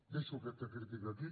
deixo aquesta critica aquí